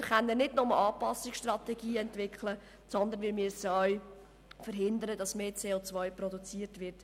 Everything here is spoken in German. Wir können nicht nur Anpassungsstrategien entwickeln, sondern müssen auch verhindern, dass mehr CO produziert wird.